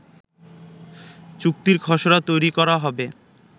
চুক্তির খসড়া তৈরি করা হবে